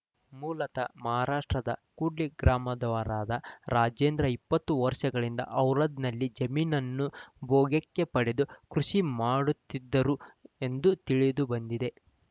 ಮೂಲತಃ ಮಹಾರಾಷ್ಟ್ರದ ಕೂಡ್ಲಿ ಗ್ರಾಮದವರಾದ ರಾಜೇಂದ್ರ ಇಪ್ಪತ್ತು ವರ್ಷಗಳಿಂದ ಔರಾದ್‌ನಲ್ಲಿ ಜಮೀನನ್ನು ಭೋಗ್ಯಕ್ಕೆ ಪಡೆದು ಕೃಷಿ ಮಾಡುತ್ತಿದ್ದರು ಎಂದು ತಿಳಿದುಬಂದಿದೆ